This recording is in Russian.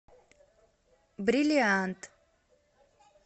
бриллиант